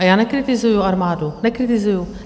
A já nekritizuji armádu, nekritizuji.